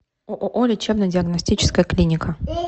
ооо лечебно диагностическая клиника